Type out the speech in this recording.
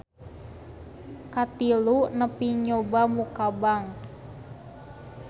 Katilu nepi nyoba muka bank.